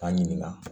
K'an ɲininka